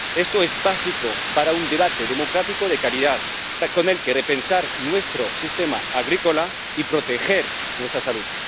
Esto es básico para un debate democrático de calidad con el que repensar nuestro sistema agrícola y proteger nuestra salud.